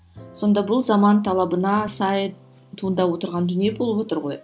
сонда бұл заман талабына сай туындап отырған дүние болып отыр ғой